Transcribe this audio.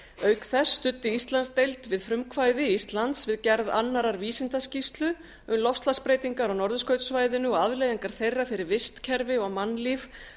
auk þess studdi íslandsdeild við frumkvæði íslands við gerð annarrar vísindaskýrslu um loftslagsbreytingar á norðurskautssvæðinu og afleiðingar þeirra fyrir vistkerfi og mannlíf